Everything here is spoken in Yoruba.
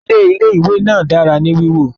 Ilé ìwé náà dára ní wíwọ